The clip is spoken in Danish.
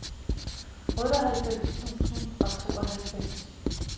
otteoghalvfems tusind og tooghalvfems